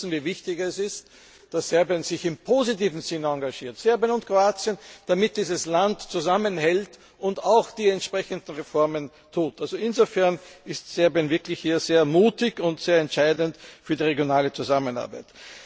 Wir alle wissen, wie wichtig es ist, dass Serbien sich in einem positiven Sinn engagiert Serbien und Kroatien damit dieses Land zusammenhält und auch die entsprechenden Reformen vollzieht. Insofern ist Serbien wirklich hier sehr mutig und sehr entscheidend für die regionale Zusammenarbeit.